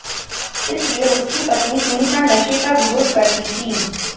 इसलिए उसकी पत्नी सुनीता नशे का विरोध करती थी